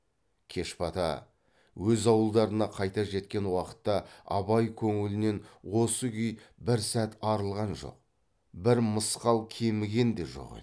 кеш бата өз ауылдарына қайта жеткен уақытта абай көңілінен осы күй бір сәт арылған жок бір мысқал кеміген де жоқ еді